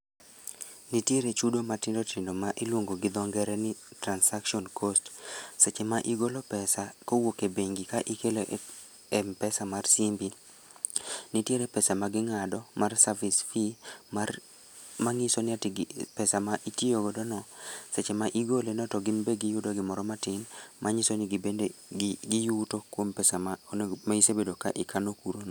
Nitiere chudo matindotindo ma iluongo gi dho ngere ni transaction cost. Seche ma igolo pesa, kowuok e bengi ka ikelo e m-pesa mar simbi. Nitiere pesa ma ging'ado mar service fee, mar mang'iso ni pesa ma itiyo godo no, seche ma igole no to ginbe giyudo gimoro matin, manyiso ni gibende gi giyuto kuom pesa ma onego ma isebedo ka ikano kuro no